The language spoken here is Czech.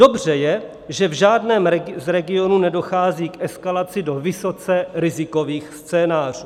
Dobře je, že v žádném z regionů nedochází k eskalaci do vysoce rizikových scénářů.